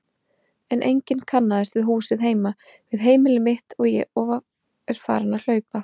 En enginn kannaðist við húsið heima, við heimili mitt, og er farin að hlaupa.